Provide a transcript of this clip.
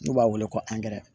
N'u b'a wele ko